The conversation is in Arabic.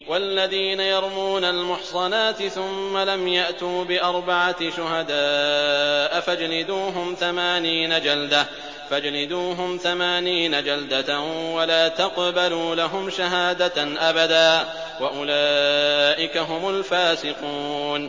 وَالَّذِينَ يَرْمُونَ الْمُحْصَنَاتِ ثُمَّ لَمْ يَأْتُوا بِأَرْبَعَةِ شُهَدَاءَ فَاجْلِدُوهُمْ ثَمَانِينَ جَلْدَةً وَلَا تَقْبَلُوا لَهُمْ شَهَادَةً أَبَدًا ۚ وَأُولَٰئِكَ هُمُ الْفَاسِقُونَ